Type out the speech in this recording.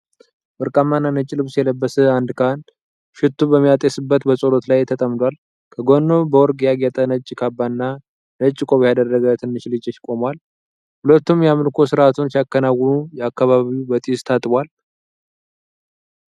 ወርቃማና ነጭ ልብስ የለበሰ አንድ ካህን ሽቱ በሚያጤስበት በጸሎት ላይ ተጠምዷል። ከጎኑ በወርቅ ያጌጠ ነጭ ካባ እና ነጭ ቆብ ያደረገ ትንሽ ልጅ ቆሟል። ሁለቱም የአምልኮ ሥርዓቱን ሲያከናውኑ አካባቢው በጢስ ታጥቧል።